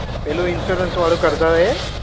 પેલું insurance વાળું કરતાતા એ?